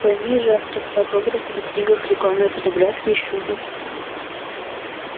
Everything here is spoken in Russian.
пойми же автографы на книгах рекламные фотографии это ещё не все